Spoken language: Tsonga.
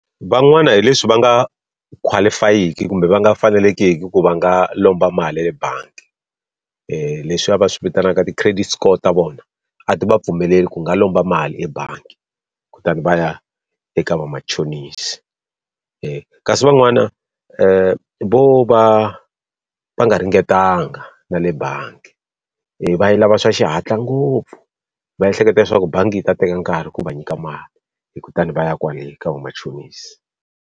Van'wana hi leswi va nga qualify-eki kumbe va nga fanelangiki ku va nga lomba mali ya le bangi. leswiya va swi vitanaka ti-credit score ta vona a ti va pfumeleli ku nga lomba mali ebangi kutani va ya eka vamachonisi. kasi van'wana vo va va nga ringetanga na le bangi, va yi lava swa xihatla ngopfu va ehleketa leswaku bangi yi ta teka nkarhi ku va nyika mali, kutani va ya kwale ka vamachonisi.